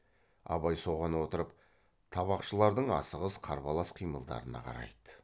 абай соған отырып табақшылардың асығыс қарбалас қимылдарына қарайды